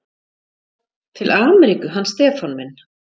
Til Ameríku, hann Stefán minn.